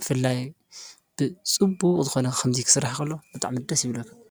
ብፍላይ ብፅቡቕ ዝኾነ ከምዚ ክስራሕ ከሎ ብጣዕሚ ደስ ይብለካ፡፡